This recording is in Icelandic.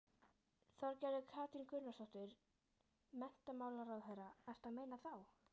Þorgerður Katrín Gunnarsdóttir, menntamálaráðherra: Ertu að meina þá?